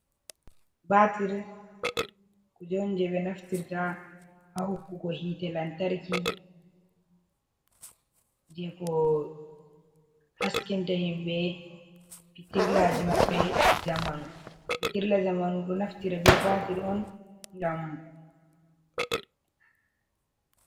Baatir, kuje jei ɓe naftirta ha hokkugo hiite lantarki, jei ko haskinta himɓe pitirlaji maɓɓe ɗi zamanu, pitirla zamanu ɗo naftira be baatir on ngam.